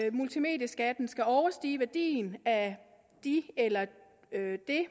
multimedieskatten skal overstige værdien af det eller de